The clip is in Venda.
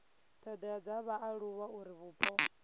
thodea dza vhaaluwa uri vhupo